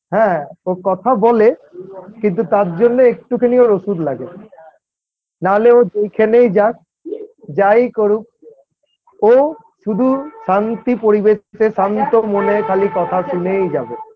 হ্যাঁ ও কথা বলে কিন্তু তাঁর জন্য একটুখানি ওর ওষুধ লাগে, না হলে ও ওই খেলেই যাক যাই করুক ও শুধু শান্তি পরিবেশ এ শান্ত মনে খালি কথা শুনেই যাবে।